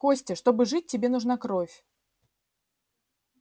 костя чтобы жить тебе нужна кровь